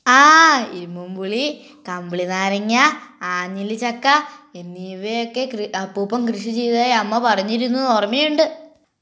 ആ ഇരുമ്പൻ പുളി , കമ്പിളിങ്ങ നാരങ്ങാ ,ആഞ്ഞലി ചക്ക എന്നിവയൊക്കെ കൃ അപ്പുപൻ കൃഷി ചെയ്തതായി അമ്മ പറഞ്ഞിരുന്നത് ഓർമ്മയുണ്ട്